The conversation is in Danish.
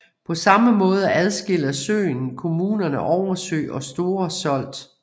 På samme måde adskiller søen kommunerne Oversø og Store Solt